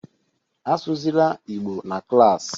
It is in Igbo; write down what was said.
Asụzịla Igbo na klassị